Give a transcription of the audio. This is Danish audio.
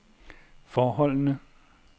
forholdene